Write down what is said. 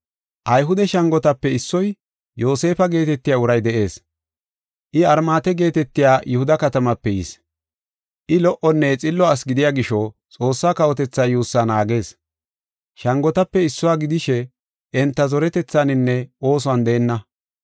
Ayhude shangotape issoy, Yoosefa geetetiya uray de7ees. I Armaate geetetiya Yihuda katamaape yis. I lo77onne Xillo asi gidiya gisho Xoossaa kawotethaa yuussaa naagees. Shangotape issuwa gidishe enta zoretethaaninne oosuwan deenna.